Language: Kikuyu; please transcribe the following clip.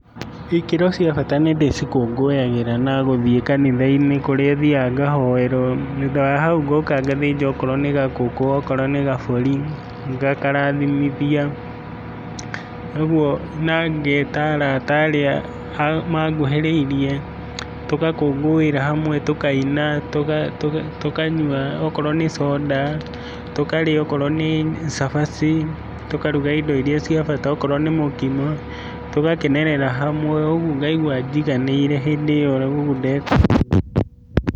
Ikĩro cia bata nĩndĩcikũngũyagĩra na gũthiĩ kanitha-inĩ kũrĩa thiaga ngahoerwo, thutha wa hau ngoka ngathĩnja okorwo nĩ gakũkũ, okorwo nĩ gabũri, ngakarathimithia, ũguo na ngeta arata arĩa manguhĩrĩirie, tũgakũngũira hamwe, tũkaina, tũkanyua okorwo nĩ Soda, tũkarĩa okorwo nĩ cabaci, tũkaruga indo iria cia bata okorwo nĩ mũkimo, tũgakenerera hamwe ũguo ngaigua njiganĩire hĩndĩ ĩyo ndeka ũguo.